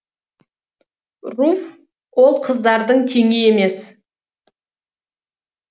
руфь ол қыздардың теңі емес